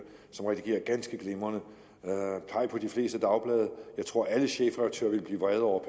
som redigerer ganske glimrende peg på de fleste dagblade jeg tror at alle chefredaktører vil blive vrede over